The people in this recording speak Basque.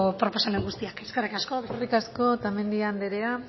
proposamen guztiak eskerrik asko eskerrik asko otamendi anderea